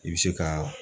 I bɛ se ka